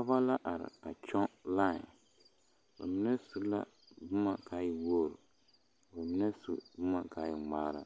Pɔgeba la are a kyɔŋ lae ba mine su la boma ka a e wogri ka ba mine su boma ka e ŋmaara